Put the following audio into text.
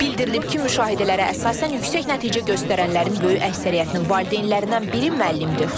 Bildirilib ki, müşahidələrə əsasən yüksək nəticə göstərənlərin böyük əksəriyyətinin valideynlərindən biri müəllimdir.